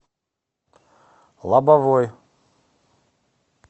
лобовой